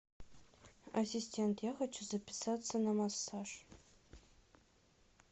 ассистент я хочу записаться на массаж